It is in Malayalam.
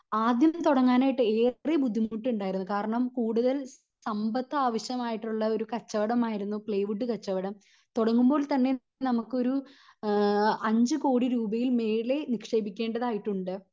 ആദ്യം തൊടങ്ങാനായിട്ട് ഏറെ ബുദ്ധിമുട്ട് ഉണ്ടായിരുന്നു കാരണം കൂടുതൽ സമ്പത് ആവിശ്യമായിട്ടുള്ള കച്ചവടം ആയിരുന്നു പ്ലൈവുഡ്ഡ് കച്ചവടം തുടങ്ങുമ്പോൾ തന്നെ നമുക്കൊരു ഏഹ് അഞ്ച് കോടി രൂപയിൽ മേലെ നിക്ഷേപിക്കേണ്ടതായിട്ടുണ്ട്